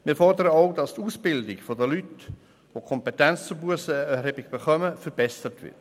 Wir fordern auch, dass die Ausbildung der Leute, die die Kompetenz zur Bussenerhebung erhalten, verbessert wird.